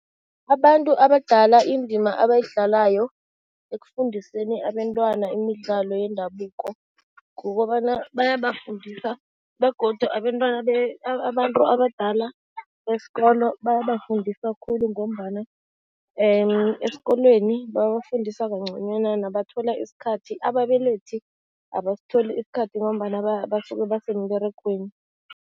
Abantu abadala indima abayidlalayo ekufundiseni abentwana imidlalo yendabuko, kukobana bayabafundisa begodu abentwana abantu abadala besikolo bayafundisa khulu ngombana esikolweni babafundisa nabathola isikhathi, ababelethi abasitholi isikhathi ngombana basuke basemberegweni.